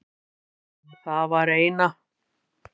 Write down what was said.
Það var eina.